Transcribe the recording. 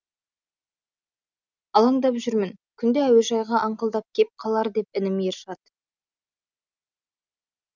алаңдап жүрмін күнде әуежайға аңқылдап кеп қалар деп інім ершат